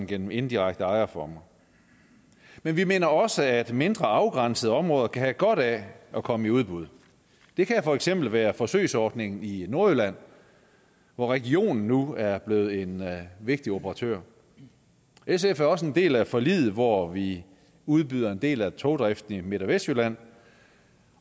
gennem indirekte ejerformer men vi mener også at mindre afgrænsede områder kan have godt af at komme i udbud det kan for eksempel være forsøgsordningen i nordjylland hvor regionen nu er blevet en vigtig operatør sf er også en del af forliget hvor vi udbyder en del af togdriften i midt og vestjylland